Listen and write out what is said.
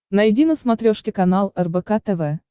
найди на смотрешке канал рбк тв